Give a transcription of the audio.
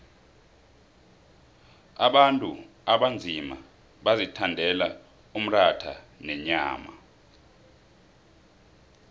abantu abanzima bazithandela umratha nenyama